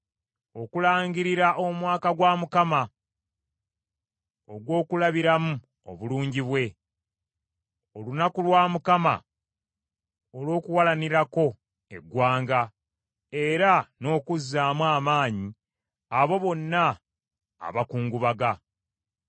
Okulangirira omwaka gwa Mukama ogw’okulabiramu obulungi bwe; olunaku lwa Mukama olw’okuwalanirako eggwanga era n’okuzzaamu amaanyi abo bonna abakungubaga.